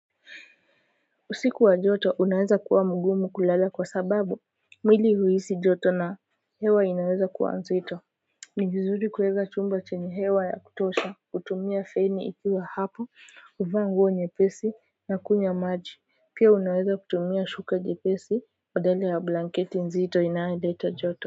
Usiku wa joto unaweza kuwa mgumu kulala kwa sababu mwili uhisi joto na hewa inaweza kuwa nzito ni vizuri kueza chumba chenye hewa ya kutosha kutumia feni ikiwa hapo kuvaa nguo nyepesi na kunywa maji pia unaweza kutumia shuka jepesi badala ya blanketi nzito inayoleta joto.